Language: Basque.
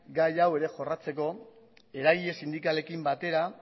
gai hau ere jorratzeko eragile sindikalekin batera